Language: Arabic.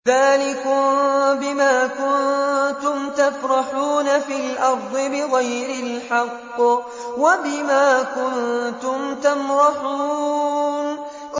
ذَٰلِكُم بِمَا كُنتُمْ تَفْرَحُونَ فِي الْأَرْضِ بِغَيْرِ الْحَقِّ وَبِمَا كُنتُمْ تَمْرَحُونَ